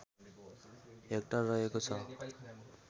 hectare रहेको छ